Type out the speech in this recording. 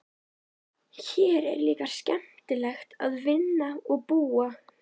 Hér er líka skemmtilegt að vinna og búa.